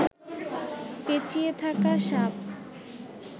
পেঁচিয়ে থাকা সাপ